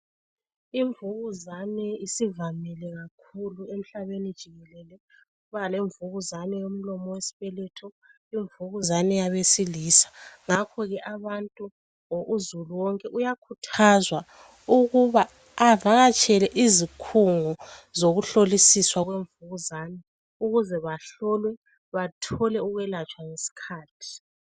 Imvukuzane isivamile kakhulu emhlabeni jikelele imvukuzane yomlomo wesibeletho imvukuzane yabesilisa ngakho abantu uzulu wonke uyakhuthazwa avakatshele izikhungo zokuhlolisiswa kwemvukuzane ukuze bathole ukwelatshwa ngesikhathi